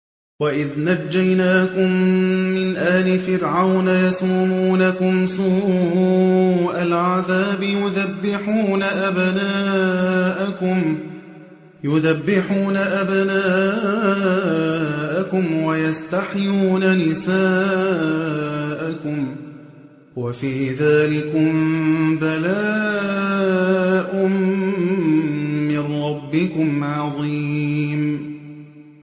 وَإِذْ نَجَّيْنَاكُم مِّنْ آلِ فِرْعَوْنَ يَسُومُونَكُمْ سُوءَ الْعَذَابِ يُذَبِّحُونَ أَبْنَاءَكُمْ وَيَسْتَحْيُونَ نِسَاءَكُمْ ۚ وَفِي ذَٰلِكُم بَلَاءٌ مِّن رَّبِّكُمْ عَظِيمٌ